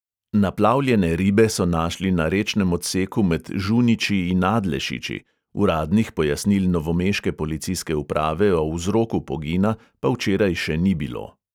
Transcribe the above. Naplavljene ribe so našli na rečnem odseku med žuniči in adlešiči, uradnih pojasnil novomeške policijske uprave o vzroku pogina pa včeraj še ni bilo.